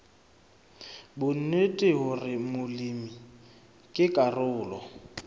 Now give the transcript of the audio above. bonnete hore molemi ke karolo